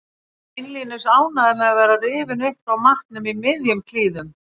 Ekki beinlínis ánægður með að vera rifinn upp frá matnum í miðjum klíðum.